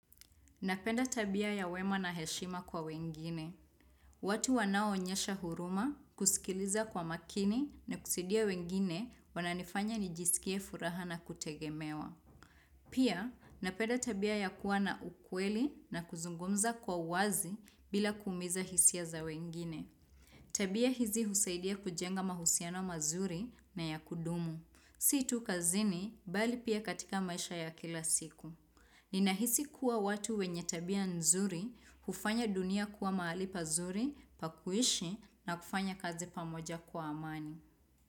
Napenda tabia ya wema na heshima kwa wengine. Watu wanaoonyesha huruma, kusikiliza kwa makini na kusaidia wengine wananifanya nijisikie furaha na kutegemewa. Pia, napenda tabia ya kuwa na ukweli na kuzungumza kwa uwazi bila kuumiza hisia za wengine. Tabia hizi husaidia kujenga mahusiano mazuri na ya kudumu. Si tu kazini bali pia katika maisha ya kila siku. Ninahisi kuwa watu wenye tabia nzuri, hufanya dunia kuwa mahali pazuri, pa kuishi na kufanya kazi pamoja kwa amani.